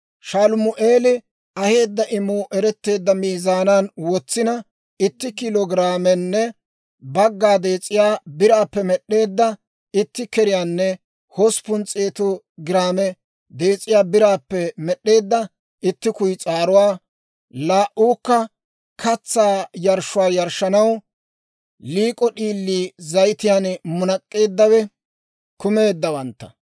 Shalumi'eeli aheedda imuu eretteedda miizaanan wotsina, itti kiilo giraamenne bagga dees'iyaa biraappe med'd'eedda itti keriyaanne hosppun s'eetu giraame dees'iyaa biraappe med'd'eedda itti kuyis'aaruwaa, laa"uukka katsaa yarshshuwaa yarshshanaw liik'o d'iilii zayitiyaan munak'k'eeddawe kumeeddawantta;